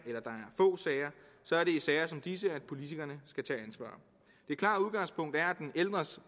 så er i sager som disse at politikerne skal tage ansvar det klare udgangspunkt er at den ældres